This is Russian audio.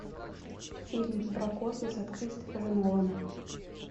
фильм про космос от кристофера нолана